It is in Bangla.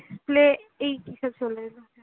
play এই কিসব চলেএলো।